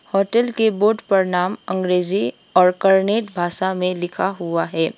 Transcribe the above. Hotel के board पर नाम अंग्रेजी और करनेट भाषा में लिखा हुआ है।